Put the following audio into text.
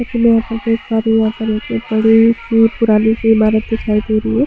जैसे कि मैं यहाँ पर देख पा रही हूँ बड़ी -सी पुरानी सी- इमारत दिखाई दे रही हैं।